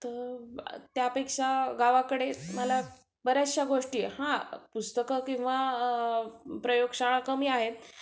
तर त्यापेक्षा गावाकडे मला बऱ्याचश्या गोष्टी, हां, पुस्तकं किंवा प्रयोगशाळा कमी आहेत